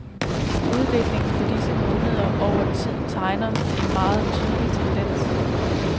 Udviklingen for disse måneder over tid tegner en meget tydelig tendens.